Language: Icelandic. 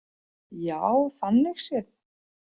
Já, þannig séð.